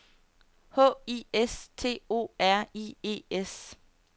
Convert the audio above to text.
H I S T O R I E S